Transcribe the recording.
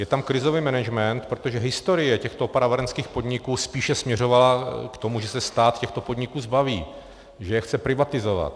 Je tam krizový management, protože historie těchto opravárenských podniků spíše směřovala k tomu, že se stát těchto podniků zbaví, že je chce privatizovat.